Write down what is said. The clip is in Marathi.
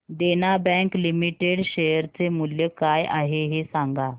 देना बँक लिमिटेड शेअर चे मूल्य काय आहे हे सांगा